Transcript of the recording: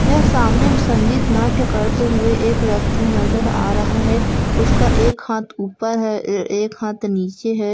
यहा सामने संगीत नाट्य करते हुए एक व्यक्ति नजर आ रहा है उसका एक हाथ ऊपर है ए एक हाथ नीचे है